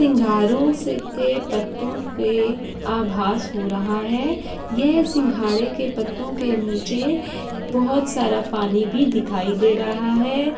सिंघारो के पत्तों के आभाश हो रहा है। यह सिंघाड़े के पत्तों के नीचे बहुत सारा पानी भी दिखाई दे रहा है।